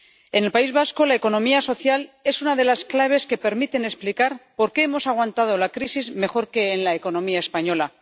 En el País Vasco, la economía social es una de las claves que permiten explicar por qué hemos aguantado la crisis mejor que en la economía española.